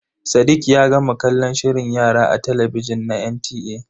Sadiq ya gama kallon shirin yara a talabijin na NTA.